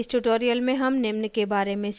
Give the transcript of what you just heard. इस tutorial में हम निम्न के बारे में सीखेंगे